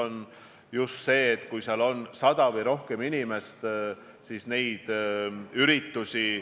Näiteks Austrias on lubatud kuni 500 inimesega välisüritused ja kuni 100 inimesega siseüritused.